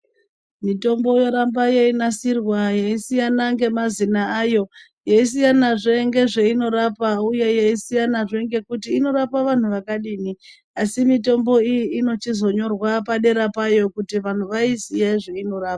Mitombo yeramba yenasirwa yesiyana ngemazina ayo. Yesiyana zve ngezveyinorapa, uye, yeyisiyana zve ngekuti inorapa vantu vakadini. Asi mitombo iyi inochizonyorwa padera payo kuti vanhu vayiziye zveyinorapa.